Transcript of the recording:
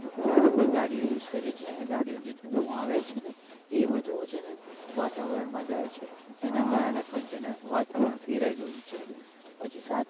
આપણે ગાડીયો use કરીયે છેએ ને ગાડીયો નો જે ધુમાડો આવે છે ને એ બધું છેને વાતાવરણ માં જાય એના કારણે પણ છેને વાતાવરણ ફેરાઈ ગયુ છે પછી સાથે